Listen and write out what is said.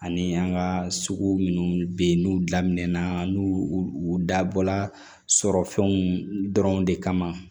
Ani an ka sugu minnu bɛ yen n'u damɛnna n'u u dabɔla sɔrɔ fɛnw dɔrɔn de kama